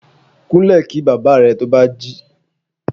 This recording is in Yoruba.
Kunle kí bàbá rẹ̀ to bá jí.